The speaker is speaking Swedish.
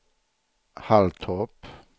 Halltorp